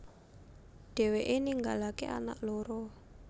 Dheweke ninggalake anak loro